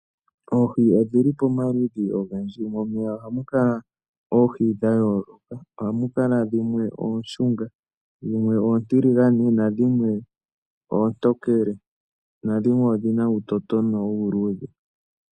Oohi odhili pamaludhi ogendji. Momeya ohamu kala oohi dha yooloka. Ohamu kala dhimwe ooshunga, dhimwe oontiligane na dhimwe oontokelena dhimwe odhina uutotona uuludhe.